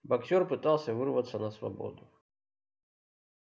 боксёр пытался вырваться на свободу